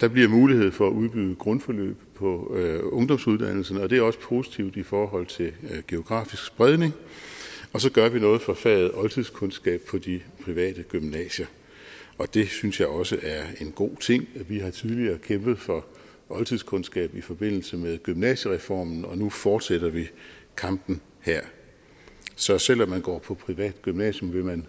der bliver mulighed for at udbyde grundforløb på ungdomsuddannelserne og det er også positivt i forhold til geografisk spredning og så gør vi noget for faget oldtidskundskab på de private gymnasier og det synes jeg også en god ting vi har tidligere kæmpet for oldtidskundskab i forbindelse med gymnasiereformen og nu fortsætter vi kampen her så selv om man går på privat gymnasium vil man